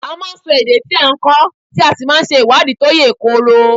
A máa ń sọ èdè tí a ń kọ́ tí a sì máa ń ṣe ìwádìí tó yè koro.